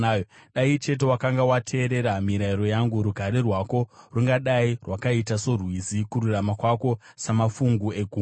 Dai chete wakanga wateerera mirayiro yangu, rugare rwako rungadai rwakaita sorwizi, kururama kwako samafungu egungwa.